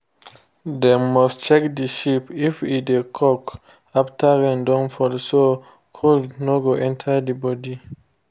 dem must check the sheep if e dey cough after rain don fall so cold no go enter the body